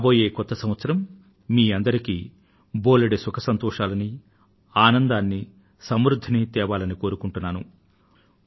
రాబోయే కొత్త సంవత్సరం మీ అందరికీ బోలెడు సుఖసంతోషాలను ఆనందాన్ని సమృద్ధిని తేవాలని కోరుకొంటున్నాను